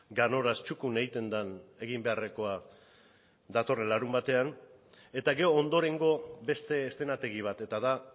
ganoraz txukun egiten den egin beharrekoa datorren larunbatean eta gero ondorengo beste eszenategi bat eta da